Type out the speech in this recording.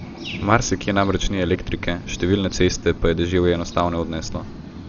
Marsikje namreč ni elektrike, številne ceste pa je deževje enostavno odneslo.